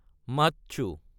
মাচ্ছু